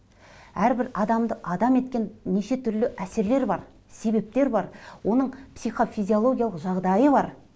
әрбір адамды адам еткен нешетүрлі әсерлер бар себептер бар оның психофизиологиялық жағдайы бар